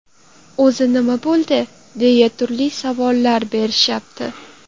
O‘zi nima bo‘ldi?”, deya turli savollar berishyapti.